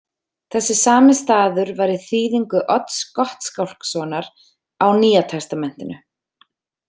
Þessi sami staður var í þýðingu Odds Gottskálkssonar á Nýja testamentinu.